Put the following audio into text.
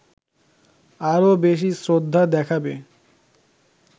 আরো বেশি শ্রদ্ধা দেখাবে